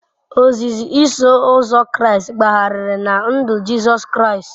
Ozizi Iso Ụzọ Kraịst gbagharịrị na ndụ Jizọs Kraịst.